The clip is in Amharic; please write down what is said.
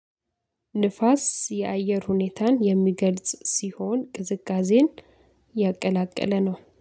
ንፋስ የአየር ሁኔታን የሚገልጽ ሲሆን ቅዝቃዜን ያቀላቀለ ነው